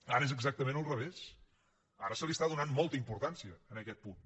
ara és exactament al revés ara se li està donant molta importància a aquest punt